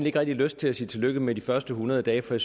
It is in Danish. ikke rigtig lyst til at sige tillykke med de første hundrede dage for